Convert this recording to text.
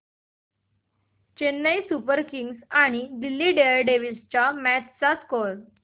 Chennai super kings आणि Delhi daredevils च्या match चा स्कोअर